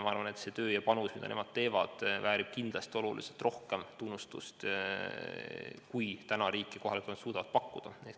Ma arvan, et see töö, mida nemad teevad, väärib kindlasti oluliselt rohkem tunnustust, kui riik ja kohalik omavalitsus suudavad täna pakkuda.